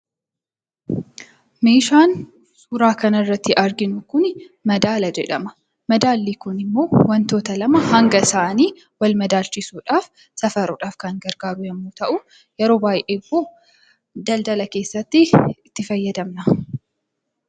Meeshaan suuraa kana irratti arginu kuni madaala jedhama. Madaalli kun immoo wantoota lama hanga isaanii wal madaalchisuudhaaf, safaruudhaaf kan gargaaru yommuu ta'u, yeroo baay'ee immoo daldala keessatti itti fayyadamna.